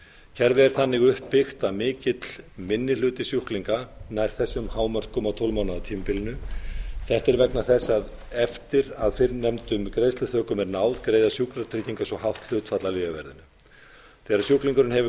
kerfið er þannig uppbyggt að mikill minni hluti sjúklinga nær þessum hámörkum á tólf mánaða tímabilinu þetta er vegna þess að eftir að fyrrnefndum greiðsluþökum er náð greiða sjúkratryggingar svo hátt hlutfall af lyfjaverðinu þegar sjúklingurinn hefur